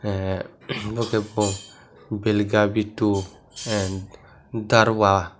a abo khe bo bil bittu and darwa.